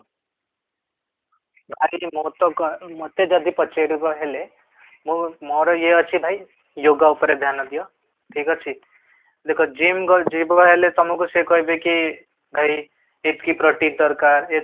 ମୁଁ ତ ମତେ ଯଦି ପଚାରିବା ହେଲେ ମୁଁ ମୋର ଇଏ ଅଛି ଭାଇ yoga ଉପରେ ଧ୍ୟାନ ଦିଅ ଠିକ ଅଛି ଦେଖ gym ଯିବାକୁ ହେଲେ ତମକୁ ସେ କହିବେ କି ଏତିକି ପ୍ରୋଟିନ ଦରକାର ଏତିକି